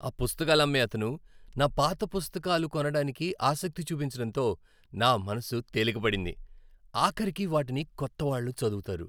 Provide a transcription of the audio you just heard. ఆ పుస్తకాలు అమ్మే అతను నా పాత పుస్తకాల కొనడానికి ఆసక్తి చూపించడంతో నా మనసు తేలిక పడింది, ఆఖరికి వాటిని కొత్తవాళ్ళు చదువుతారు.